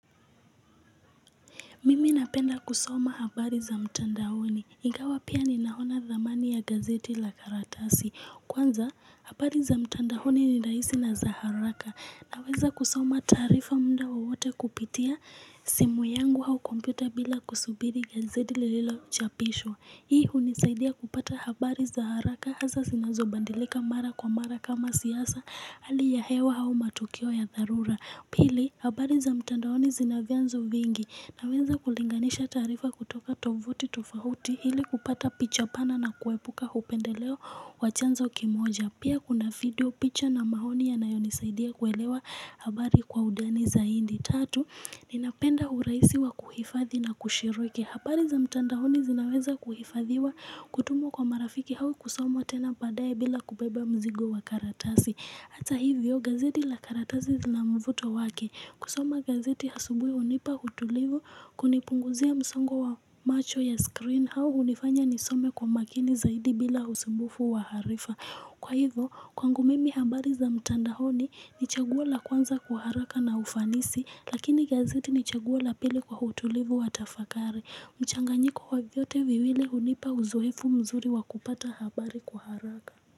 Mimi napenda kusoma habari za mtandaoni. Ingawa pia ninaona dhamani ya gazeti la karatasi. Kwanza, habari za mtandaoni ni rahisi na za haraka. Naweza kusoma taarifa mda wowote kupitia simu yangu au kompyuta bila kusubiri gazeti lililochapisho. Hii hunisaidia kupata habari za haraka hasaa zinazobandilika mara kwa mara kama siasa hali ya hewa au matukio ya dharura. Pili, habari za mtandaoni zina vyanzo vingi naweza kulinganisha taarifa kutoka tovuti tofahuti ili kupata picha pana na kuepuka upendeleo wa chanzo kimoja. Pia kuna video picha na maoni yanayonisaidia kuelewa habari kwa undani zaidi. Tatu, ninapenda urahisi wa kuhifadhi na kushirike. Habari za mtandaoni zinaweza kuhifadhiwa kutumwa kwa marafiki au kusomwa tena baadaye bila kubeba mzigo wa karatasi. Hata hivyo gazeti la karatasi zila mvuto wake. Kusoma gazeti asubui hunipa utulivu kunipunguzia msongo wa macho ya screen au hunifanya nisome kwa makini zaidi bila usumbufu wa harifa. Kwa hivyo, kwangu mimi habari za mtandaoni ni chaguo la kwanza kwa haraka na ufanisi lakini gazeti ni chaguo la pili kwa utulivu wa tafakari. Mchanganyiko wa vyote viwili hunipa uzoefu mzuri wa kupata habari kwa haraka.